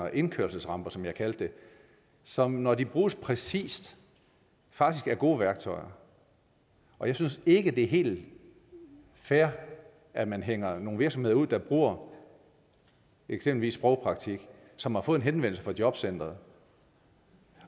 indkørselsramper som jeg kaldte det som når de bruges præcist faktisk er gode værktøjer og jeg synes ikke det er helt fair at man hænger nogle virksomheder ud der bruger eksempelvis sprogpraktik og som har fået en henvendelse fra jobcenteret